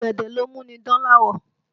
Ọ̀gẹ̀dẹ̀ ló mú ni dán láwọ̀